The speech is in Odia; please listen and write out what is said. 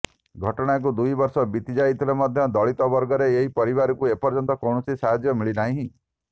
ଘଟଣାକୁ ଦୁଇ ବର୍ଷ ବିତିଯାଇଥିଲେ ମଧ୍ୟ ଦଳିତ ବର୍ଗର ଏହି ପରିବାରଙ୍କୁ ଏପର୍ଯ୍ୟନ୍ତ କୌଣସି ସାହାଯ୍ୟ ମିଳିନାହିଁ